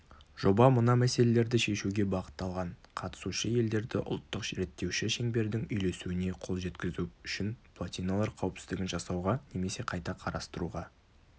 жоба мына мәселерді шешуге бағытталған қатысушы елдерді ұлттық реттеуші шеңбердің үйлесуіне қол жеткізу үшін плотиналар қауіпсіздігін жасауға немесе қайта қарастыруға